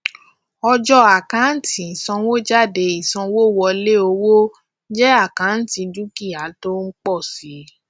ọjọ àkántì ìsanwójáde ìsanwówọlé owó jẹ àkántì dúkìá tó ń pọ si